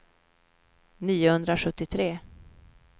niohundrasjuttiotre